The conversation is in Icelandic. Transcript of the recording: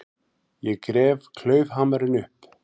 Ég gref klaufhamarinn upp.